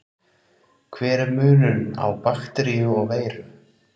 Hver er munurinn á bakteríu og veiru?